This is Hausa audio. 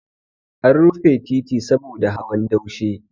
An rufe titi saboda hawan daushe.